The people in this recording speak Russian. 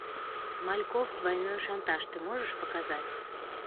смальков двойной шантаж ты можешь показать